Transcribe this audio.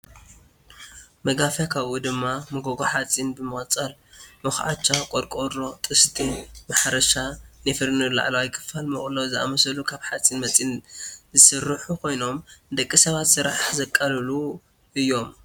መጋፍያ ካብኡ ድማ መጎጎ ሓፂን ብምቅፃል መኩዐቻ፣ ቈርቆቦ፣ ጥስቲ፣ ማሕረሻ፣ ናይ ፎርኔሎ ላዕለዋይ ክፋል፣ መቅሎ ዝኣመሳሰሉ ካብ ሓፂነ መፅን ዝስርሑ ኮይኖም ንደቂ ሰባት ስራሕ ዘቅልሉ እዮም።